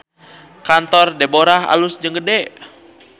Kantor Deborah alus jeung gede